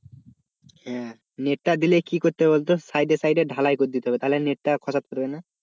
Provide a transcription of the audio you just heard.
হ্যাঁ, net টা দিলে কি করতে হবে বলতো side এ side এ ঢালাই করে হবে তাহলে net টা পারবে না।